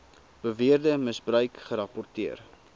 beweerde misbruik gerapporteer